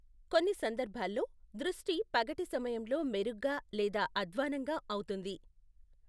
కొన్ని సందర్భాల్లో, దృష్టి పగటి సమయంలో మెరుగ్గా లేదా అధ్వాన్నంగా అవుతుంది.